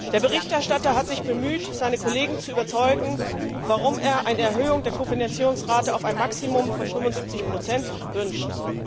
Der Berichterstatter hat sich bemüht, seine Kollegen zu überzeugen, warum er eine Erhöhung der Kofinanzierungsrate auf ein Maximum von 75 wünscht.